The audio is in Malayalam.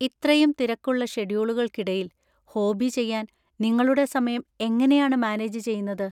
ഇത്രയും തിരക്കുള്ള ഷെഡ്യൂളുകൾക്കിടയിൽ ഹോബി ചെയ്യാൻ നിങ്ങളുടെ സമയം എങ്ങനെയാണ് മാനേജ് ചെയ്യുന്നത്?